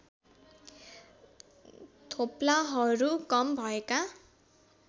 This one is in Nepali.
थोप्लाहरू कम भएका